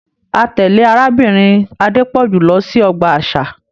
A tẹle Arábìnrin Adepoju lọ sí ọgbà àṣà.